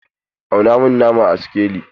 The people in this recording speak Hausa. Auna min nama a sikelin!